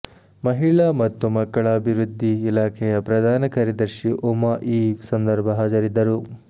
ಮಹಿಳಾ ಮತ್ತು ಮಕ್ಕಳ ಅಭಿವೃದ್ಧಿ ಇಲಾಖೆಯ ಪ್ರಧಾನ ಕಾರ್ಯದರ್ಶಿ ಉಮಾ ಈ ಸಂದರ್ಭ ಹಾಜರಿದ್ದರು